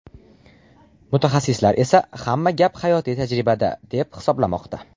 Mutaxassislar esa hamma gap hayotiy tajribada, deb hisoblamoqda.